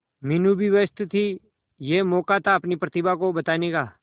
मीनू भी व्यस्त थी यह मौका था अपनी प्रतिभा को बताने का